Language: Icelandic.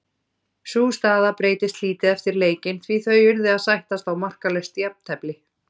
Sú staða breytist lítið eftir leikinn því þau urðu að sættast á markalaust jafntefli.